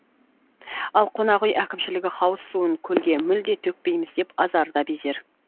ал қонақ үй әкімшілігі хауыз суын көлге мүлде төкпейміз деп азарда безер